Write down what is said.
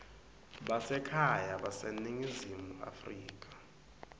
basekhaya baseningizimu afrika